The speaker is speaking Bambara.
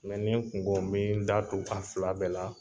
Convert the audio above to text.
n kun ko me n da tu a fila bɛɛ la.